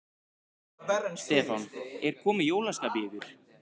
Stefán: Er komið jólaskap í ykkur?